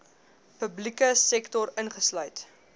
publieke sektor ingesluit